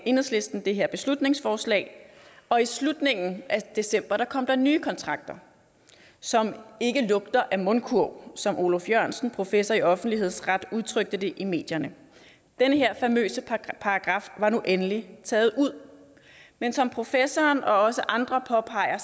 enhedslisten det her beslutningsforslag og i slutningen af december kom der nye kontrakter som ikke lugter af mundkurv som oluf jørgensen professor i offentlighedsret udtrykte det i medierne den her famøse paragraf var nu endelig taget ud men som professoren og også andre påpeger